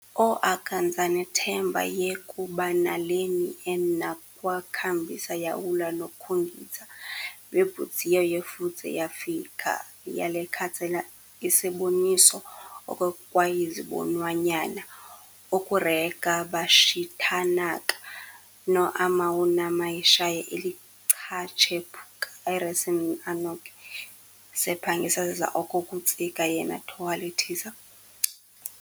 oAkanzanetembo ye-kubanaleni en'nakwekhabise yawula noCoginzi lwembudzinya yeFudze yeYifakhaza yakethatsenethata iseboniso okokwekwayizibonwanya okureka baxithanaka noAmawunamayishaya elichatshephukana aRasensin'anokhi wakoYawana oNeqibombe oQaSeQangala noMba-enjoza neChindandodiyeka sePangisa sizaOkokutsika yenaThohalethisa uMagokwadi ngabonokudivhina ke'lidzela elokucayeka zeMakhuba nakuChingana, inke nesemidza